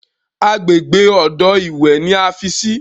Àgbègbè odò ìwẹ̀ ni a fi sí.